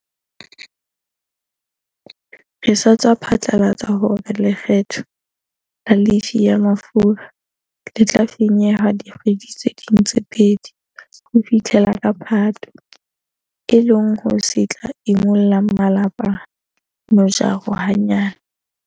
Re sa tswa phatlalatsa hore lekgetho la lefii ya mafura le tla fanyehwa dikgwedi tse ding tse pedi ho fihlela ka Phato, e leng se tla imollang malapa mojaro hanyane.